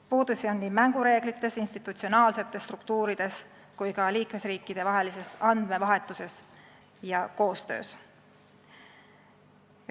Puudusi on mängureeglites, institutsionaalsetes struktuurides, aga ka liikmesriikidevahelises andmevahetuses ja koostöös.